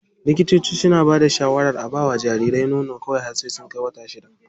Likitoci suna bada shawarar a bawa jariri nono kawai har sai ya kai wata shida.